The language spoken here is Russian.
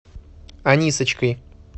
анисочкой